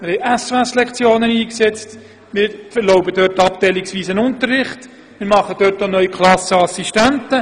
Wir haben SOS-Lektionen eingesetzt, wir erlauben abteilungsweisen Unterricht und wir schaffen neu Klassen-Assistenten.